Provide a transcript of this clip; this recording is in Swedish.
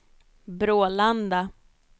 Brålanda